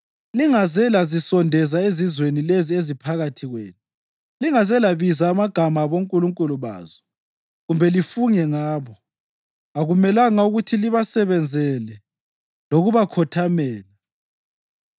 Lingaze lazisondeza ezizweni lezi eziphakathi kwenu; lingaze labiza amagama abonkulunkulu bazo kumbe lifunge ngabo. Akumelanga ukuthi libasebenzele lokubakhothamela.